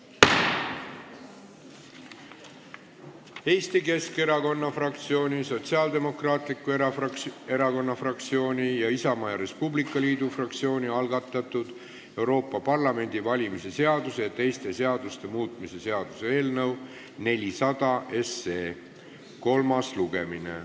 Eesti Keskerakonna fraktsiooni, Sotsiaaldemokraatliku Erakonna fraktsiooni ning Isamaa ja Res Publica Liidu fraktsiooni algatatud Euroopa Parlamendi valimise seaduse ja teiste seaduste muutmise seaduse eelnõu 400 kolmas lugemine.